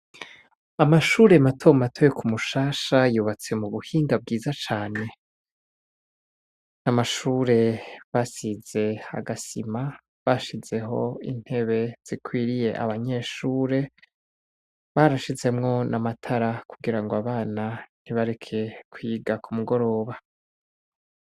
Amashure matomu atoye ku mushasha yubatse mu buhinga bwiza cane n'amashure basize agasima bashizeho intebe zikwiriye abanyeshure barashizemwo n' amatara kugira ngo abana ntibareke kwiga ku mugororo ba.